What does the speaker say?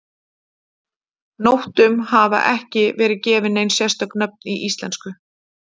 Nóttum hafa ekki verið gefin nein sérstök nöfn í íslensku.